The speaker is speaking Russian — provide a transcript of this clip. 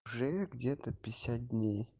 уже где-то пятьдесять дней